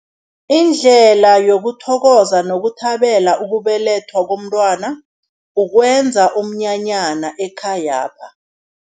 Indlela yokuthokoza nokuthabela ukubelethwa komntwana, ukwenza umnyanyana ekhayapha.